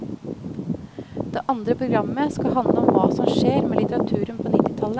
Det andre programmet skal handle om hva som skjer med litteraturen på nittitallet.